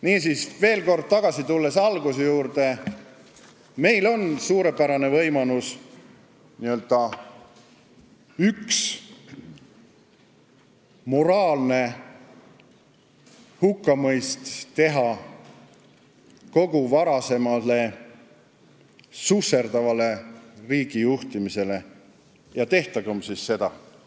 " Niisiis, veel kord tagasi tulles alguse juurde: meil on suurepärane võimalus moraalselt hukka mõista kogu varasem susserdav riigijuhtimine ja tehkem siis seda!